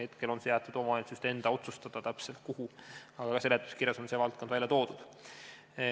Hetkel on jäetud omavalitsuste enda otsustada, kuhu täpselt, aga ka seletuskirjas on see valdkond ära toodud.